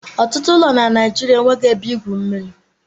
Ọtụtụ ụlọ na Naijiria enweghị ebe igwu mmiri.